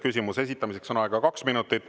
Küsimuse esitamiseks on aega kaks minutit.